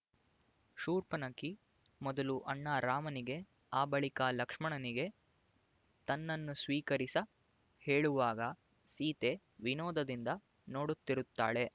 ಶೂರ್ಪನಖಿ ಮೊದಲು ಅಣ್ಣ ರಾಮನಿಗೆ ಆ ಬಳಿಕ ಲಕ್ಷ್ಮಣನಿಗೆ ತನ್ನನ್ನು ಸ್ವೀಕರಿಸ ಹೇಳುವಾಗ ಸೀತೆ ವಿನೋದದಿಂದ ನೋಡುತ್ತಿರುತ್ತಾಳೆ